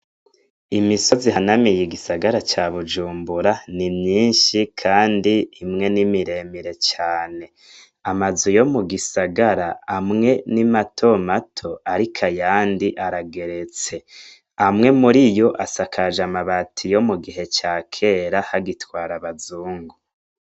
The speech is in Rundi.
Imisozi ihanamiye igisagara ca Bujumbura, ni myinshi kandi imwe ni miremire cane, amazu yo mugisagara amwe ni mato mato ariko ayandi arageretse, amwe mur'ivyo asakajwe amabati yo mugihe ca kera hagitwara abazungu.